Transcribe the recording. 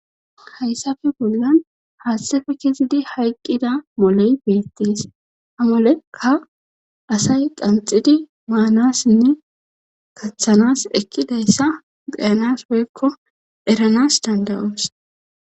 hayssafe bollan haaththefe kizidi hayqqida moley beettees ha moleka asay qanxidi maanassinne kaththanas ekkidayssa beyanas woykko eranas dandayoos